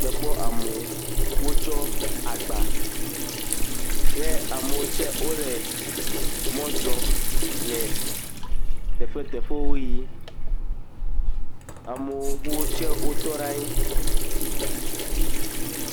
Mekpɔ amewo, wotsɔ agba eye amewo tse wole mɔ zɔm le teƒeteƒewo yim. Amewo tse wotɔ ɖe anyi.